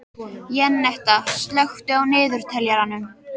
Jenetta, slökktu á niðurteljaranum.